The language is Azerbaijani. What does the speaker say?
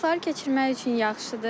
Vaxtları keçirmək üçün yaxşıdır.